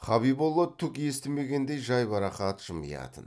хабиболла түк естімегендей жайбарақат жымиятын